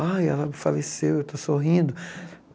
Ai, ela faleceu, eu estou sorrindo.